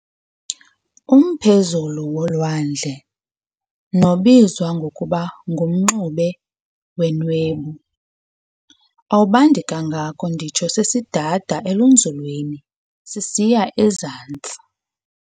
Umphezulu wolwandle, nobizwa ngokuba ngu-mxube wenwebu, awubandi kangako nditsho sesidad'elenzulwini sisiy'ezantsi.